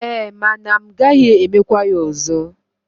E, mana m gaghi emekwa ya ozo.